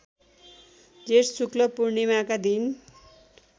जेष्ठ शुक्ल पूर्णिमाका दिन